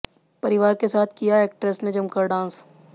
परिवार के साथ किया एक्ट्रेस ने जमकर डांस